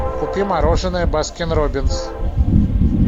купи мороженое баскин роббинс